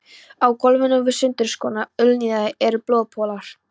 Á gólfinu við sundurskorna úlnliðina eru blóðpollar.